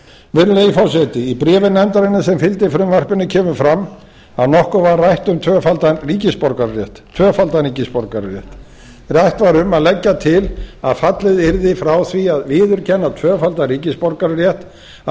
virðulegi forseti í bréfi nefndarinnar sem fylgdi frumvarpinu kemur fram að nokkuð var rætt um tvöfaldan ríkisborgararétt rætt var um að leggja til að fallið yrði frá því að viðurkenna tvöfaldan ríkisborgararétt að